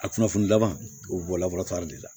A kunnafoni dama u bɛ bɔ de la